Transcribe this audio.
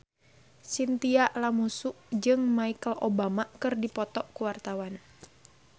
Chintya Lamusu jeung Michelle Obama keur dipoto ku wartawan